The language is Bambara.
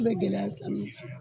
I be gɛlɛya san min fɛ